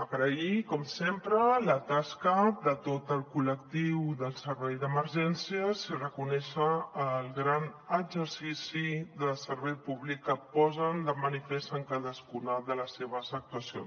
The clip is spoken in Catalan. agrair com sempre la tasca de tot el col·lectiu del servei d’emergències i reconèixer el gran exercici de servei públic que posen de manifest en cadascuna de les seves actuacions